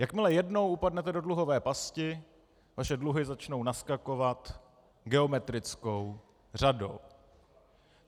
Jakmile jednou upadnete do dluhové pasti, vaše dluhy začnou naskakovat geometrickou řadou.